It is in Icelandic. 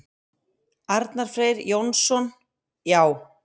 Arnar Freyr Jónsson: Já.